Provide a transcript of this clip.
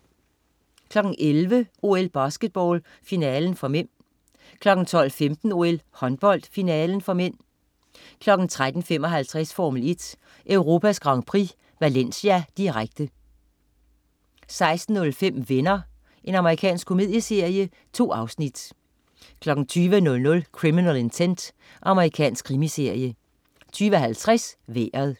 11.00 OL: Basketball, finalen (m) 12.15 OL: Håndbold, finalen (m) 13.55 Formel 1: Europas Grand Prix, Valencia, direkte 16.05 Venner. Amerikansk komedieserie. 2 afsnit 20.00 Criminal Intent. Amerikansk krimiserie 20.50 Vejret